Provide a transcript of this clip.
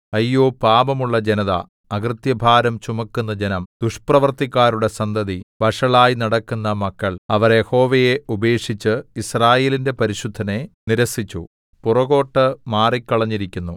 അയ്യോ പാപമുള്ള ജനത അകൃത്യഭാരം ചുമക്കുന്ന ജനം ദുഷ്പ്രവൃത്തിക്കാരുടെ സന്തതി വഷളായി നടക്കുന്ന മക്കൾ അവർ യഹോവയെ ഉപേക്ഷിച്ചു യിസ്രായേലിന്റെ പരിശുദ്ധനെ നിരസിച്ചു പുറകോട്ടു മാറിക്കളഞ്ഞിരിക്കുന്നു